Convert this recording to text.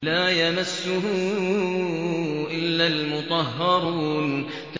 لَّا يَمَسُّهُ إِلَّا الْمُطَهَّرُونَ